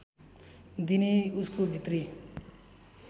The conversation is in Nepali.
दिने उसको भित्री